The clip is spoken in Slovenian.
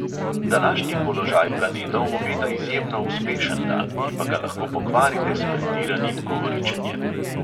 Današnji položaj planetov obeta izjemno uspešen dan, ki pa ga lahko pokvarite s pretiranim govoričenjem.